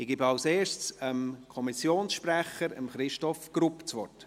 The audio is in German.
Ich gebe zuerst dem Kommissionssprecher, Christoph Grupp, das Wort.